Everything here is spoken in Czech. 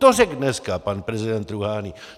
To řekl dneska pan prezident Rúhání!